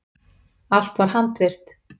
Allt var handvirkt.